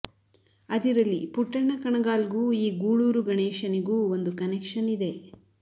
ಅದಿರಲಿ ಪುಟ್ಟಣ್ಣ ಕಣಗಾಲ್ ಗೂ ಈ ಗೂಳೂರು ಗಣೇಶನಿಗೂ ಒಂದು ಕನೆಕ್ಷನ್ ಇದೆ